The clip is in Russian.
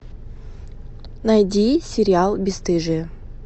найди сериал бесстыжие